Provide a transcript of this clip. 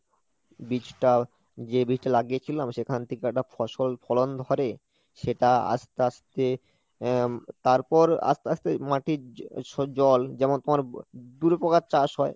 বীজটাও যে বীজটা লাগিয়েছিলাম সেখান থেকে একটা ফসল ফলন ধরে সেটা আস্তে আস্তে আহ তারপর আস্তে আস্তে মাটির জল যেমন তোমার দুই প্রকার চাষ হয়,